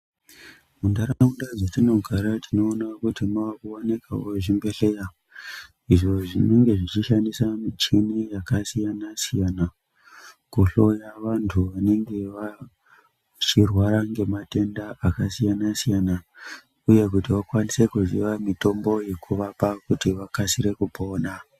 Mundaraunda dzetinogara tinoona kuti mavakuwanikwa zvibhedhleya izvo zvinonge zvishandisa michini yakasiyana siyana, kuhloya vantu vanenge vachirwara nematenda akasiyana siyana uye kuti vakwanise kuziya mitombo yekuvapa kuti vakasire kupona.